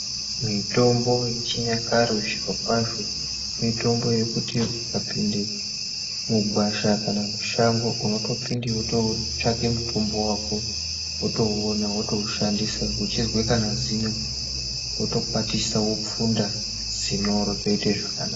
Mitombo yechinyakare zvirokwazvo, mitombo yekuti ukapinde mugwasha kana mushango ,unotopinde wototsvake mutombo wako, wotouona wotoushandisa. Uchizwe kana zino, wotokwatisa wopfunda ,zino rotoite zvakanaka.